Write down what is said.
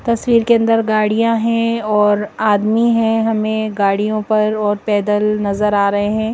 तस्वीर के अंदर गाड़ियां हैं और आदमी हैं। हमें गाड़ियों पर और पैदल नजर आ रहे हैं।